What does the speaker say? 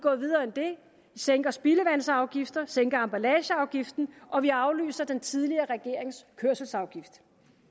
sænker spildevandsafgifter sænker emballageafgiften og vi aflyser den tidligere regerings kørselsafgift